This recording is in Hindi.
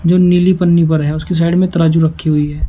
जो नीली पन्नी पर है उसकी साइड में तराजू रखी हुई है।